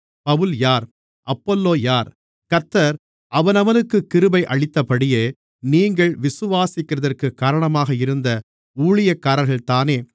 பவுல் யார் அப்பொல்லோ யார் கர்த்தர் அவனவனுக்கு கிருபை அளித்தபடியே நீங்கள் விசுவாசிக்கிறதற்கு காரணமாக இருந்த ஊழியக்காரர்கள்தானே